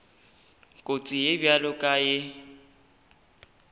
kotsi ye bjalo ka ye